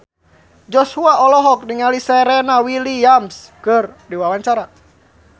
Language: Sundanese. Joshua olohok ningali Serena Williams keur diwawancara